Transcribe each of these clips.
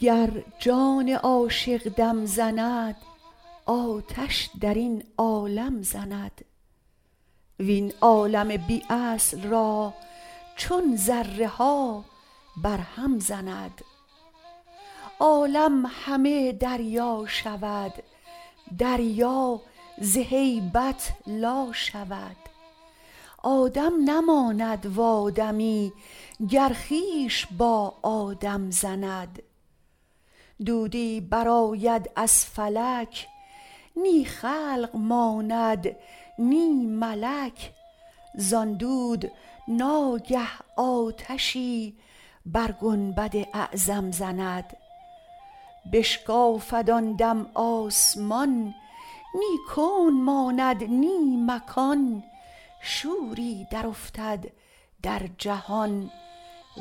گر جان عاشق دم زند آتش در این عالم زند وین عالم بی اصل را چون ذره ها برهم زند عالم همه دریا شود دریا ز هیبت لا شود آدم نماند و آدمی گر خویش با آدم زند دودی برآید از فلک نی خلق ماند نی ملک زان دود ناگه آتشی بر گنبد اعظم زند بشکافد آن دم آسمان نی کون ماند نی مکان شوری درافتد در جهان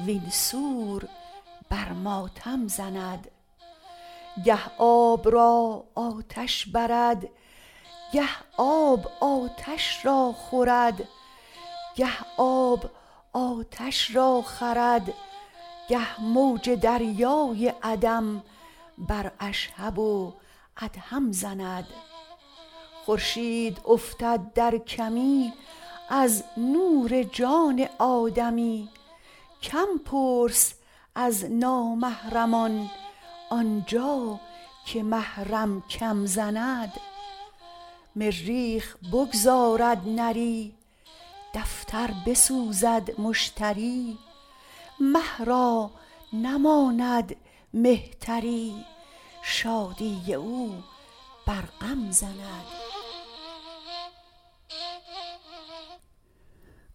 وین سور بر ماتم زند گه آب را آتش برد گه آب آتش را خورد گه موج دریای عدم بر اشهب و ادهم زند خورشید افتد در کمی از نور جان آدمی کم پرس از نامحرمان آن جا که محرم کم زند مریخ بگذارد نری دفتر بسوزد مشتری مه را نماند مهتری شادی او بر غم زند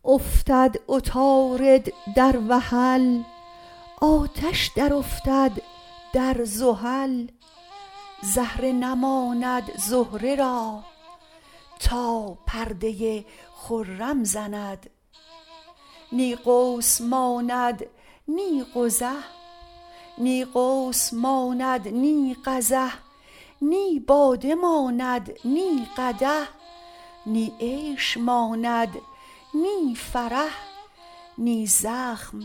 افتد عطارد در وحل آتش درافتد در زحل زهره نماند زهره را تا پرده خرم زند نی قوس ماند نی قزح نی باده ماند نی قدح نی عیش ماند نی فرح نی زخم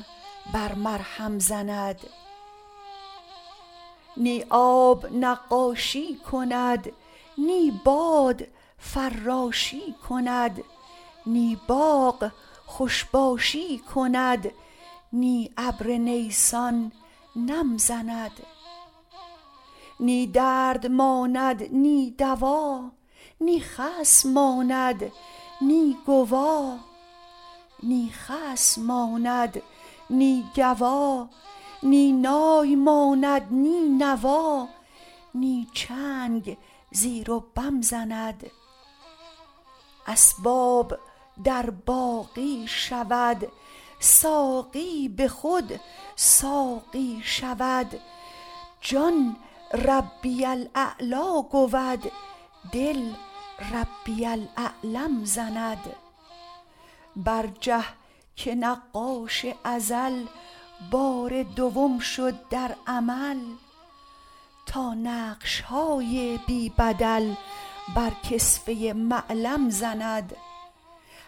بر مرهم زند نی آب نقاشی کند نی باد فراشی کند نی باغ خوش باشی کند نی ابر نیسان نم زند نی درد ماند نی دوا نی خصم ماند نی گوا نی نای ماند نی نوا نی چنگ زیر و بم زند اسباب در باقی شود ساقی به خود ساقی شود جان ربی الاعلی گود دل ربی الاعلم زند برجه که نقاش ازل بار دوم شد در عمل تا نقش های بی بدل بر کسوه معلم زند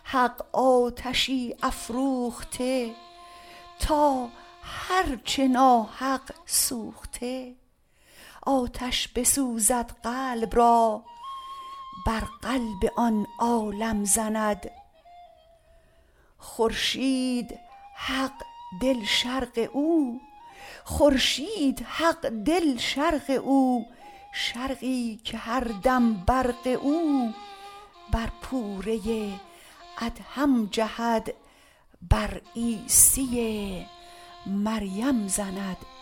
حق آتشی افروخته تا هر چه ناحق سوخته آتش بسوزد قلب را بر قلب آن عالم زند خورشید حق دل شرق او شرقی که هر دم برق او بر پوره ادهم جهد بر عیسی مریم زند